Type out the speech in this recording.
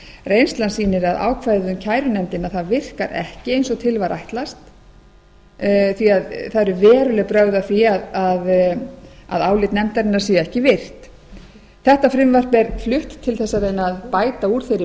reynslan sýnir að ákvæðið um kærunefndina virkar ekki eins og til var ætlast því það eru veruleg brögð að því að álit nefndarinnar sé ekki virt þetta frumvarp er flutt til að reyna að bæta úr þeirri